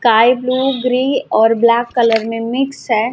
काई blue green और black colour में मिक्स है।